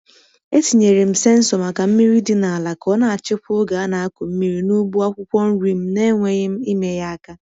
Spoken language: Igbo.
E tinyere m sensọ maka mmiri dị n’ala ka ọ na-achịkwa oge a na-akụ mmiri n’ugbo akwụkwọ nri m n’enweghị m ime ya aka.